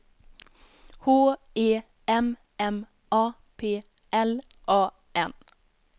H E M M A P L A N